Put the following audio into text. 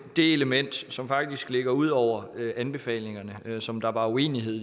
det element som faktisk ligger ud over anbefalingerne og som der var uenighed